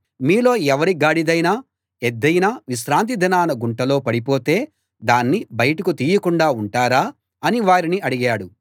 మీలో ఎవరి గాడిదైనా ఎద్దైనా విశ్రాంతి దినాన గుంటలో పడిపోతే దాన్ని బయటకు తీయకుండా ఉంటారా అని వారిని అడిగాడు